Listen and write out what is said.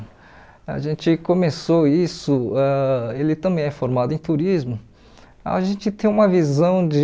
A gente começou isso, ãh ele também é formado em turismo, a gente tem uma visão de...